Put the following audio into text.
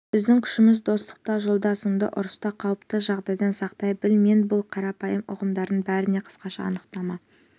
біздің күшіміз достықта жолдасыңды ұрыста қауіпті жағдайдан сақтай біл мен бұл қарапайым ұғымдардың бәріне қысқаша анықтама